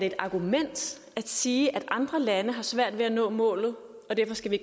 et argument at sige at andre lande har svært ved nå målet og derfor skal vi